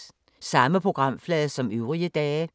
Samme programflade som øvrige dage